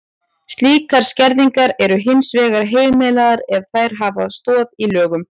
Slíkar skerðingar eru hins vegar heimilar ef þær hafa stoð í lögum.